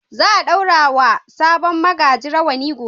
Za a ɗaura wa sabon magaji rawani gobe.